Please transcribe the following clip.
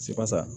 Sikasa